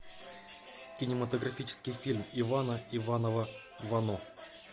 кинематографический фильм ивана иванова вано